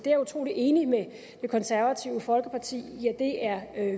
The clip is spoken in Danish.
er utrolig enig med det konservative folkeparti i at det er